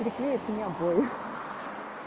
приклеить мне обои